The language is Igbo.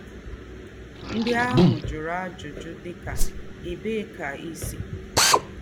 Ndí́ àhụ́ jụ̀rụ̀ àjụ́jụ́ dí̄kà: “Ébèé kà í sị́?